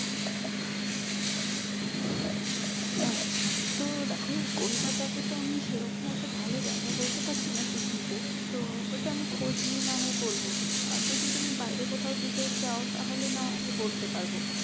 আচ্ছা তো দেখো কোলকাতাতে তে তো আমি সেরকম অটো ভালো জায়গা বলতে পারছিনা picnic এর তো ওটা আমি খোঁজ নিয়ে না হয় বলবো আর যদি তুমি বাইরে কোথাও যেতে চাও তাহলে নাহয় আমি বলতে পারবো